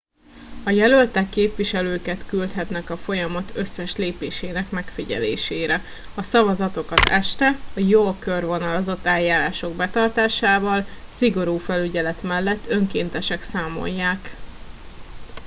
a jelöltek képviselőket küldhetnek a folyamat összes lépésének megfigyelésére a szavazatokat este a jól körvonalazott eljárások betartásával szigorú felügyelet mellett önkéntesek számolják